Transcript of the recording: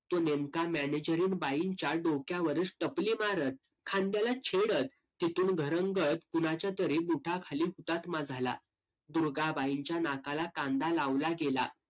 तो नेमका मॅनेजरीन बाईंच्या डोक्यावरच टपली मारत खांद्याला छेडत तिथून घरंगळत कुणाच्यातरी बुटाखाली हुतात्मा झाला. दुर्गाबाईंच्या नाकाला कांदा लावला गेला.